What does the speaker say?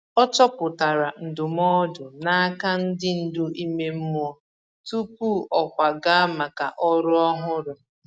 O chọpụtara ndụmọdụ n’aka ndi ndu ime mmụọ tupu ọ kwaga maka ọrụ ọhụrụ.